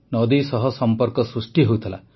ନଦୀ ସହ ସମ୍ପର୍କ ସୃଷ୍ଟି ହେଉଥିଲା